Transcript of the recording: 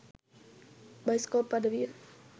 Bioscope අඩවිය.